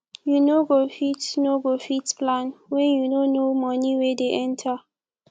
you no go fit no go fit plan when you no know money wey dey enter